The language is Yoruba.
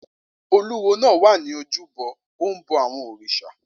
Olúwo náà wà ní ojúbọ ó ń bọ àwọn òrìṣà